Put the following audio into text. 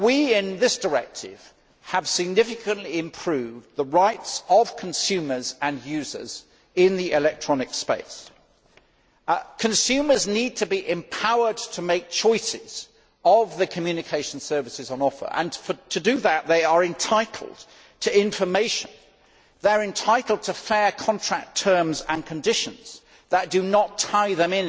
In this directive we have significantly improved the rights of consumers and users in the electronic space. Consumers need to be empowered to make choices between the communication services on offer and, to do that, they are entitled to information. They are entitled to fair contract terms and conditions that do not tie